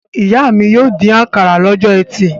Ìyá mi yóò dín àkàrà lọ́jọ́ ẹtì.